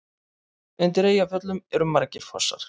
Undir Eyjafjöllum eru margir fossar.